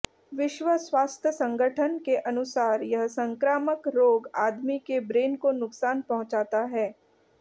विश्व स्वास्थ संगठन के अनुसार यह संक्रामक रोग आदमी के ब्रेन को नुकसान पहुंचाता है